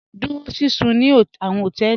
Dúró síṣún ní àwọn họtẹẹlì.